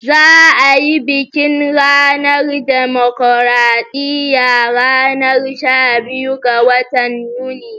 Za'a yi bikin ranar dimokuradiyya ranar shabiyu ga watan yuni.